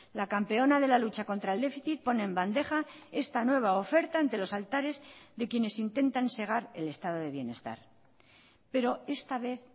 la campeona de la lucha contra el déficit pone en bandeja esta nueva oferta ante los altares de quienes intentan segar el estado de bienestar pero esta vez